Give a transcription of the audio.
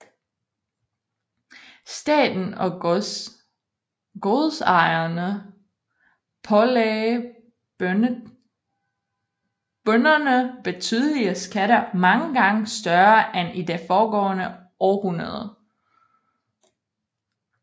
Staten og godsejerne pålagde bønderne betydelige skatter mange gange større end i det foregående århundrede